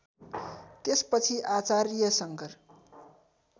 त्यसपछि आचार्य शङ्कर